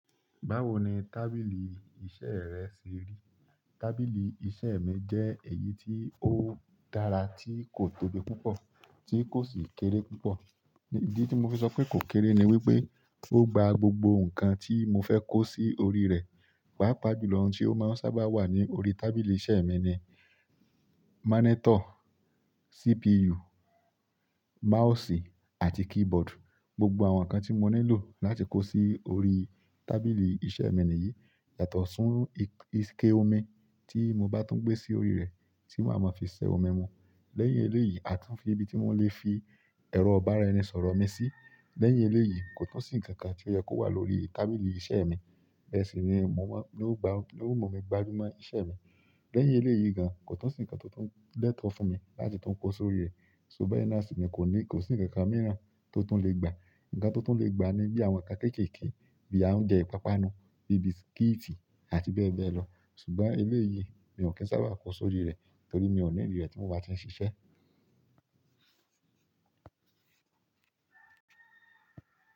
Báwo ni tábìlì iṣẹ́ rẹ ṣe rí? Tábìlì iṣẹ́ mi jẹ́ èyí tí ó dára tí kò tóbi púpọ̀ tí kò sì kéré púpọ̀. Ìdí tí mo fi sọ pé kò kéré ni wípé ó gba gbogbo ǹkan tí mo fẹ́ kó sí orí rẹ̀. Pàápàá jù lọ ohun tí ó máa ń sábà wà ní orí tábìlì iṣẹ́ mi ni monitor, CPU, mouse àti keyboard. Gbogbo àwọn ǹkan tí mo nílò láti kó sí orí tábìlì iṣẹ́ mi nìyí. Yàtọ̀ sí ikẹ́ òmi tí mo bá tún gbé sí orí rẹ̀, tí wọ́n a máa fi ṣẹ́ ọmi mu. Lẹ́yìn eléyìí, a tún fi ibi tí wọ́n lè fi ẹ̀rọ ibará ẹni sọ̀rọ̀ mi sí. Lẹ́yìn eléyìí, kò tún sí ǹkan kan tí ó yẹ́ kó wà lórí tábìlì iṣẹ́ mi. Bẹ́ẹ̀ sì ni yo mu mi máa gbajú mọ́ iṣẹ́ mi. Lẹ́yìn eléyìí gan, kò tún sí ǹkan tó tún lẹ́tọ̀ fún mi láti tún kó sórí rẹ̀. Ṣo bẹ́ẹ̀ naani koni kò sí ǹkan mìíràn tó tún lè gba. Ǹkan tó tún lè gba ni bí àwọn ǹkan kéékèèké bíi oúnjẹ ìpápánu, bíi bisikíìtì àti bẹ́ẹ̀ bẹ́ẹ̀ lọ. Ṣùgbọ́n eléyìí mi ò kín sábà kó sórí rẹ̀ torí mi ò nídi rẹ̀ tí mo bá ti ń ṣiṣẹ́.